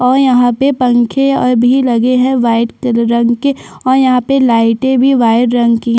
और यहाँ पे पंखे और भी लगे है वाइट रंग के और यहाँ पे लाइटें भी वाइट रंग की हैं।